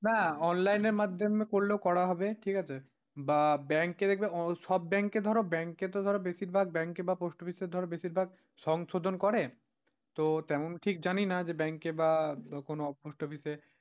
না online এর মাধ্যমে করলেও করা হবে ঠিক আছে বা ব্যাংকের, সব ব্যাংকে ধরো ব্যাংকেতে বেশিরভাগ ব্যাংকে বা পোস্ট অফিসে ধরো বেশিরভাগ সংশোধন করেন, তো তেমন ঠিক জানি না জানিনা বা কোনও পোস্ট অফিসে।